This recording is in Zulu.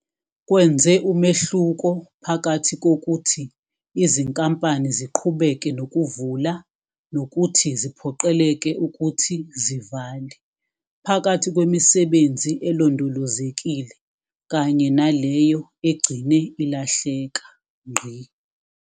Kwenze umehluko phakathi kokuthi izinkampani ziqhubeke nokuvula nokuthi ziphoqeleke ukuthi zivale, phakathi kwemisebenzi elondolozekile kanye naleyo egcine ilahleka.